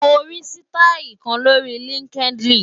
Mo rí sítáì kan lórí LinkedIn.